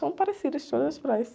São parecidas todas as praias.